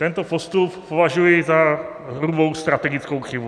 Tento postup považuji za hrubou strategickou chybu.